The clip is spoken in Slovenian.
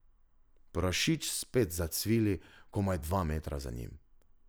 Prašič spet zacvili komaj dva metra za njim.